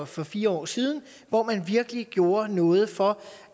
for fire år siden hvor man virkelig gjorde noget for